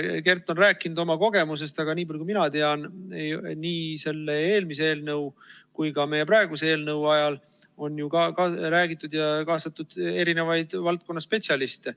Kert on rääkinud oma kogemusest, aga nii palju kui mina tean, on nii selle eelmise eelnõu kui ka meie praeguse eelnõu menetlusse ju kaasatud ka valdkonna spetsialiste.